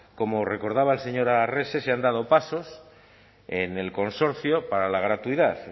como recordaba el señor arrese se han dado pasos en el consorcio para la gratuidad